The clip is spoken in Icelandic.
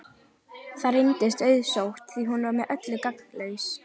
Það reyndist auðsótt því hún var með öllu gagnslaus.